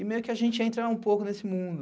E meio que a gente ia entrar um pouco nesse mundo.